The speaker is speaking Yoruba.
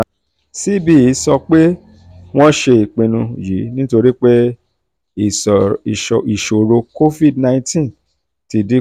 cbe sọ pé wọ́n ṣe ìpinnu yìí nítorí pé ìṣòro covid nineteen ti dín kù.